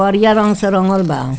करिया रंग से रंगल बा।